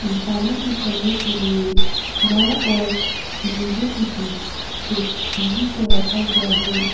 इंसानों को चलने के लिए नाव और समुद्र के बीच एक सीढ़ी को रखा गया है।